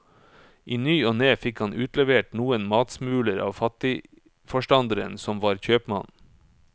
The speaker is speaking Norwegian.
I ny og ne fikk han utlevert noen matsmuler av fattigforstanderen som var kjøpmann.